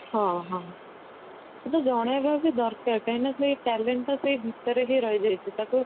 ହଁ ହଁ ସେଇଟା ଜଣେଇବା ବି ଦରକାର କାହିଁକି ନା ସେଇ talent ଟା ଏଇ ଭିତରେ ହି ରହି ଯାଇଛି ତାକୁ